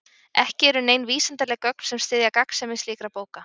Ekki eru nein vísindaleg gögn sem styðja gagnsemi slíkra bóka.